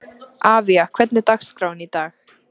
Avía, hvernig er dagskráin í dag?